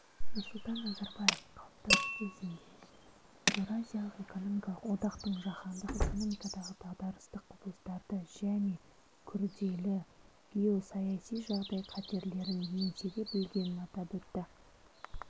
нұрсұлтан назарбаев қалыптасу кезеңінде еуразиялық экономикалық одақтың жаһандық экономикадағы дағдарыстық құбылыстарды және күрделі геосаяси жағдай қатерлерін еңсере білгенін атап өтті